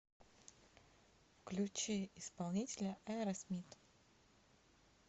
включи исполнителя аэросмит